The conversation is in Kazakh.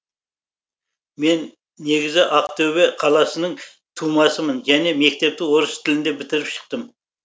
мен негізі ақтөбе қаласының тумасымын және мектепті орыс тілінде бітіріп шықтым